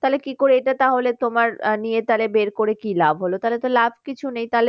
তাহলে কি করে এটা তাহলে তোমার আহ নিয়ে তোমার বের করে কি লাভ হলো? তাহলে তো লাভ কিছু নেই।